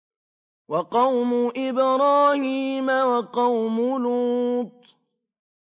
وَقَوْمُ إِبْرَاهِيمَ وَقَوْمُ لُوطٍ